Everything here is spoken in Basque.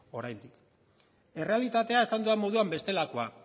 oraindik errealitatea esan dudan moduan bestelakoa